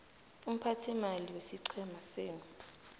umphathiimali wesiqhema senu